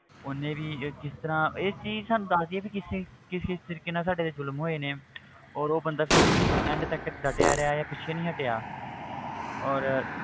ਉਹਨੇ ਵੀ ਇਹ ਕਿਸ ਤਰ੍ਹਾਂ ਇਹ ਚੀਜ਼ ਸਾਨੂੰ ਦੱਸਦੀ ਹੈ ਵੀ ਕਿਸ ਕਿਸ ਤਰੀਕੇ ਨਾਲ ਸਾਡੇ ਤੇ ਜ਼ੁਲਮ ਹੋਏ ਨੇ ਔਰ ਉਹ ਬੰਦਾ ਫਿਰ ਵੀ end ਤੱਕ ਡਟਿਆ ਰਿਹਾ ਹੈ ਪਿੱਛੇ ਨੀ ਹਟਿਆ ਔਰ